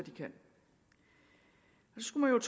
skulle